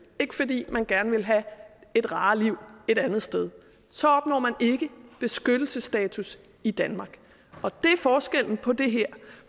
ikke fordi man gerne vil have et rarere liv et andet sted så opnår man ikke beskyttelsesstatus i danmark og det er forskellen på det her